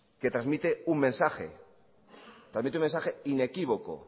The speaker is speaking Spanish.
que transmite un mensaje inequívoco